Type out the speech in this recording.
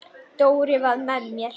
Dóri var með mér.